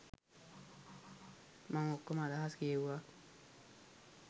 මං ඔක්කොම අදහස් කියෙව්වා.